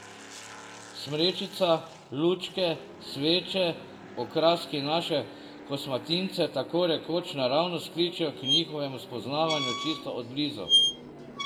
Smrečica, lučke, sveče, okraski naše kosmatince tako rekoč naravnost kličejo k njihovemu spoznavanju čisto od blizu.